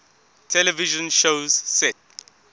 television shows set